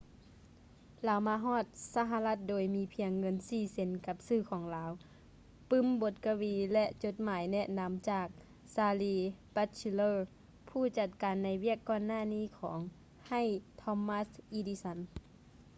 ລາວມາຮອດສະຫະລັດໂດຍມີພຽງເງິນ 4 ເຊັນກັບຊື່ຂອງລາວ ປື້ມບົດກະວີ ແລະຈົດໝາຍແນະນຳຈາກ charles batchelor ຜູ້ຈັດການໃນວຽກກ່ອນໜ້ານີ້ຂອງ ໃຫ້ thomas edison